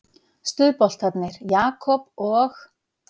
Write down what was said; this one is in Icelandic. Stuðboltarnir Jakob og